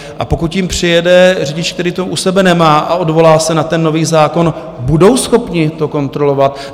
A pokud jim přijede řidič, který to u sebe nemá a odvolá se na ten nový zákon, budou schopni to kontrolovat?